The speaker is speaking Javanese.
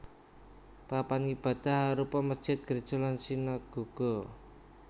Papan ngibadah arupa mesjid gréja lan sinagoga